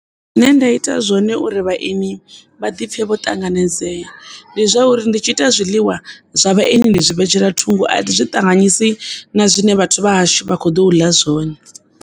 Zwine nda ita zwone uri vhaeni vha ḓi pfhe vho ṱanganedzea ndi zwa uri ndi tshi ita zwiḽiwa zwa vhaeni ndi zwi vhetshela thungo a thi zwi ṱanganyisa na zwine vhathu vha hashu vha kho ḓo u ḽa zwone.